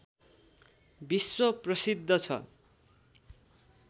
विश्व प्रसिद्ध छ